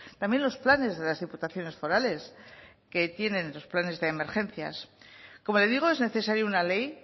también los planes de las diputaciones forales que tienen los planes de emergencias como le digo es necesario una ley